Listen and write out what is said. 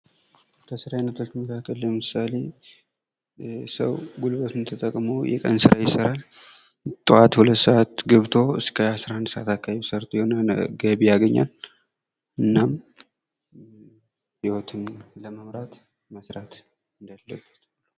ከስራ አይነቶች መካከል ለምሳሌ ሰው ጉልበቱን ተጠቅሞ የቀን ስራ ይሰራል ። ጥዋት ሁለት ሰአት ገብቶ እስከ አስራ አንድ ሰዓት አካባቢ ሰርቶ የሆነ ገቢ ያገኛል ። እናም ህይወቱን ለመምራት መስራት እንዳለበት ።